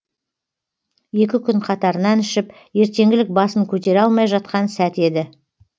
екі күн қатарынан ішіп ертеңгілік басын көтере алмай жатқан сәті еді